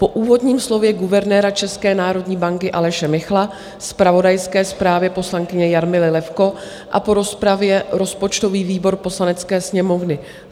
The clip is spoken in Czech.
"Po úvodním slově guvernéra České národní banky Aleše Michla, zpravodajské zprávě poslankyně Jarmily Levko a po rozpravě rozpočtový výbor Poslanecké sněmovny